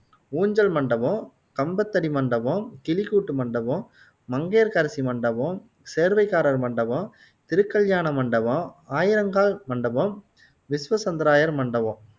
ஊஞ்சல் மண்டபம், கம்பத்தடி மண்டபம், கிளிக்கூட்டு மண்டபம், மங்கையர்க்கரசி மண்டபம், சேர்வைக்காரர் மண்டபம், திருக்கல்யாண மண்டபம், ஆயிரங்கால் மண்டபம் விஸ்வசந்தராயர் மண்டபம்